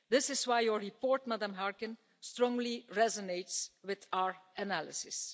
This is why your report, Ms Harkin, strongly resonates with our analysis.